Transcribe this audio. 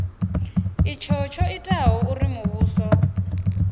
itshi tsho itaho uri muvhuso